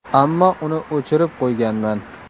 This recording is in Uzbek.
Ammo uni o‘chirib qo‘yganman.